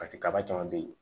pase kaba caman be ye